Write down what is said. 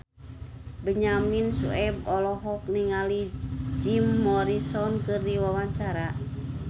Benyamin Sueb olohok ningali Jim Morrison keur diwawancara